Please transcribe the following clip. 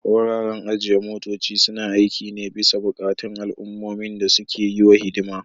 Wuraren ajiye motoci suna aiki ne bisa buƙatun al'ummomin da suke yi wa hidima.